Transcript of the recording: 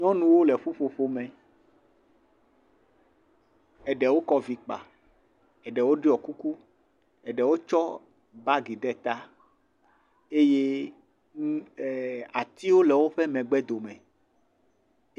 Nyɔnuwo le ƒuƒoƒo me, eɖewo kɔ vi kpa, eɖewo ɖɔ kuku, eɖewo tsɔ bagi ɖe ta eye atiwo le woƒe megbe dome.